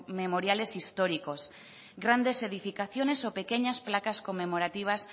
memoriales históricos grandes edificaciones o pequeñas placas conmemorativas